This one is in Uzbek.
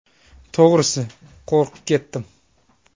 To‘g‘risi, qo‘rqib ketdim.